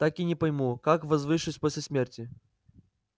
так и не пойму как возвышусь после смерти